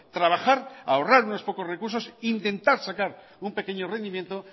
trabajar ahorrar unos pocos recursos intentar sacar un pequeño rendimiento